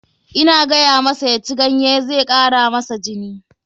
Ina gayamasa ya ci ganye, zai kara masa jini.